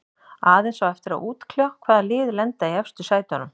Aðeins á eftir að útkljá hvaða lið lenda í efstu sætunum.